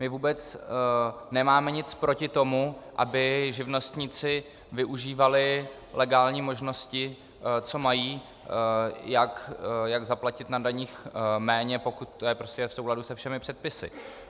My vůbec nemáme nic proti tomu, aby živnostníci využívali legální možnosti, co mají, jak zaplatit na daních méně, pokud je to v souladu se všemi předpisy.